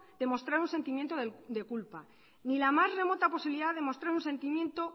de mostrar un sentimiento de culpa ni la más remota posibilidad de mostrar un sentimiento